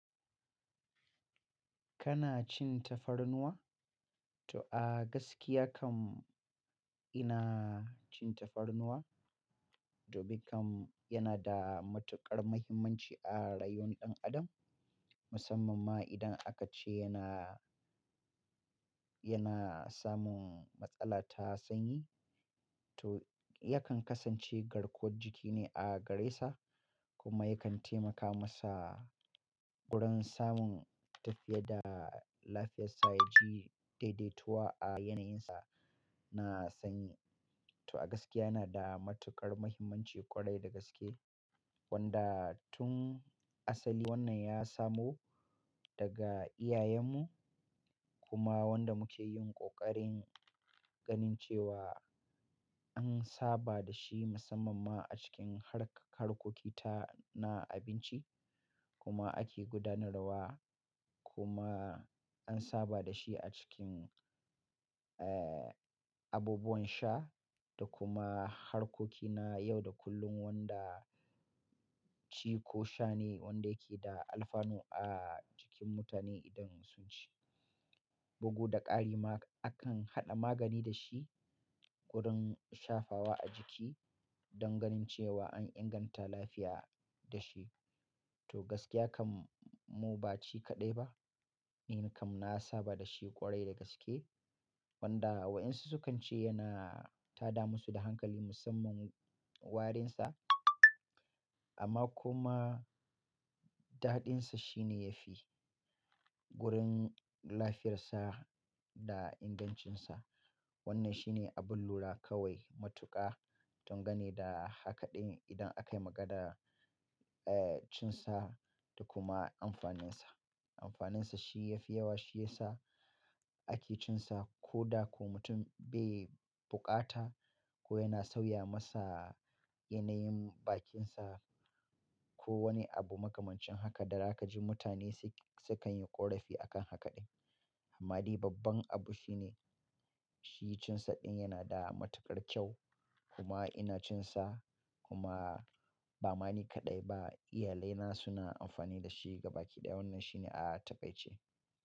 Kana cin tafarnuwa? To a gaskiya kam ina cin tafarnuwa. Dumin kam yana da matuƙar muhimmanci a rayuwar ɗan adam musamman ma idan aka ce yana, yana samun matsala ta sanyi. To yakan kasance garkuwar jiki ne a gare sa kuma yakan taimaka masa wurin samun tafiya da lafiyarsa ya ji daidaituwa a yanayinsa na sanyi. To a gaskiya yana da matuƙar muhimmanci ƙwarai da gaske wanda tun asali wannan ya samo daga iyayenmu kuma wanda muke yin ƙoƙarin ganin cewa an saba da shi musamman ma a cikin hark-harkoki ta na abinci kuma ake gudanarwa kuma an saba da shi a cikin, abubuwan sha da kuma harkoki na yau da kullum wanda ci ko sha ne wanda yake da alfanu a jikin mutane idan sun ci. Bugu da ƙari ma akan haɗa magani da shi wurin shafawa a jiki don ganin cewa an inganta lafiya da shi. To gaskiya kam mu ba shi kaɗai ba, ni kam na saba da shi ƙwarai da gaske wanda waɗansu sukan ce yana tada musu da hankali musamman warinsa amma kuma daɗinsa shine yafi wurin lafiyarsa da ingancinsa. Wannan shine abun lura kawai matuƙa danga ne da hakaɗin idan a kai maganar cin sa da kuma amfaninsa. Amfaninsa shi ya fi yawa shiyasa ake cin sa ko da ko mutum bai buƙata ko yana sauya masa yanayin bakinsa ko wani abu makamancin haka da za ka ji mutane sai-sukan yi ƙorafi a kan haka ɗin. Amma dai babban abu shine shi cin sa ɗin yana da matuƙar kyau kuma ina cin sa kuma ba ma ni kaɗai ba, iyalai na suna amfani da shi gabaki ɗaya. Wannan shine a takaice.